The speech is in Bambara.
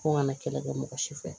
Ko ŋa na kɛlɛ kɛ mɔgɔ si fɛ